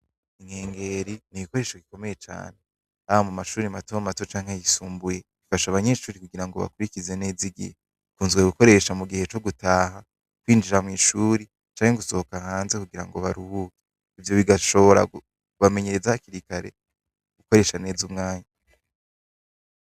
Inkengeri n'igikoresho gikomeye cane ,haba mushure mato mato canke ayisumbuye, ifasha abanyeshuri kugira bakurikize neza igihe, ikunzwe gukoreshwa mugihe co gutaha, kwinjira mw'ishure canke gusohoka hanze kugirango baruhuke, ivyo bigashobora kubamenyereza hakiri kare gukoresha neza umwanya.